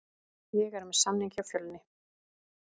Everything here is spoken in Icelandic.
Ég er með samning hjá Fjölni.